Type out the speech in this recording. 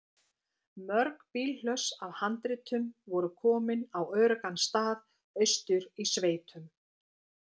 Mörg bílhlöss af handritum voru komin á öruggan stað austur í sveitum.